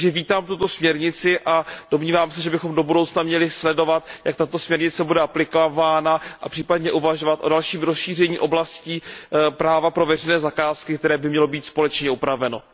Takže vítám tuto směrnici a domnívám se, že bychom do budoucna měli sledovat, jak bude tato směrnice aplikována, a případně uvažovat o dalším rozšíření oblastí práva pro veřejné zakázky, které by mělo být společně upraveno.